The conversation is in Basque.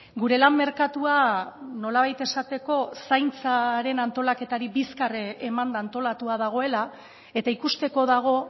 gure lan merkatua nolabait ezateko zaintzaren antolaketari bizkar emanda antolatua dagoela eta ikusteko dago